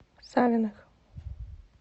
савиных